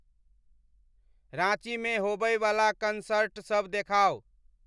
राँचीमे होयवला कनसर्टसभ देखाउ